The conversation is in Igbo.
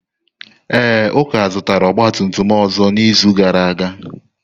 Ee, Uka zụtara ọgba tum tum ọzọ n'izu gara aga.